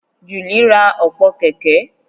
Julie ra ọ̀pọ̀ kẹ̀kẹ́